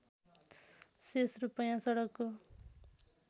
शेष रूपैयाँ सडकको